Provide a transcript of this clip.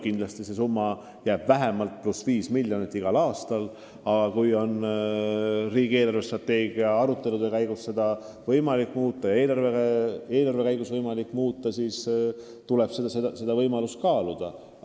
Kindlasti on see summa vähemalt pluss 5 miljonit igal aastal, aga kui riigi eelarvestrateegia arutelude käigus on seda võimalik muuta ja ka eelarve lubab, siis tuleb seda kaaluda.